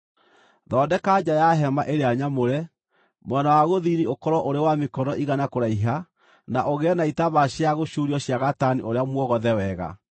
“Thondeka nja ya hema ĩrĩa nyamũre; mwena wa gũthini ũkorwo ũrĩ wa mĩkono igana kũraiha na ũgĩe na itambaya cia gũcuurio cia gatani ũrĩa mwogothe wega,